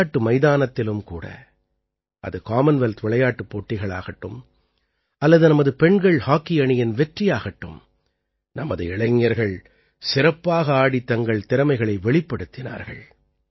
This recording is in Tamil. விளையாட்டு மைதானத்திலும் கூட அது காமன்வெல்த் விளையாட்டுப் போட்டிகளாகட்டும் அல்லது நமது பெண்கள் ஹாக்கி அணியின் வெற்றியாகட்டும் நமது இளைஞர்கள் சிறப்பாக ஆடித் தங்கள் திறமைகளை வெளிப்படுத்தினார்கள்